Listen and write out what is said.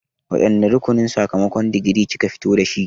Wane rukunin sakamakon digiri kika fita da shi0?